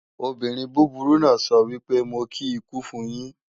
Obìnrin búburú náà sọ wípé "Mo kí ikú fun yín"